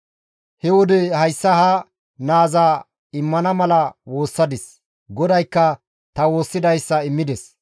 He wode hayssa ha naaza immana mala woossadis; GODAYKKA ta woossidayssa taas immides.